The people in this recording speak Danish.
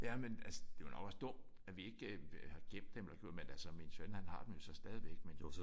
Jamen altså det er nok også dumt at vi ikke øh har gemt dem eller gjort men altså min søn han har dem jo så stadigvæk men